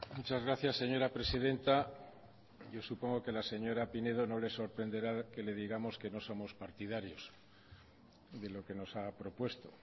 muchas gracias señora presidenta yo supongo que a la señora pinedo no le sorprenderá que le digamos que no somos partidarios de lo que nos ha propuesto